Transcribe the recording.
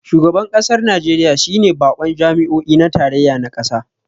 Shugaban kasar Najeriya shi ne bakon jami'o'i na tarayya na kasa